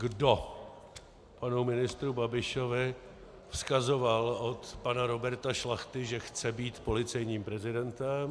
Kdo panu ministru Babišovi vzkazoval od pana Roberta Šlachty, že chce být policejním prezidentem?